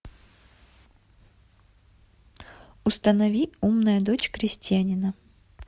установи умная дочь крестьянина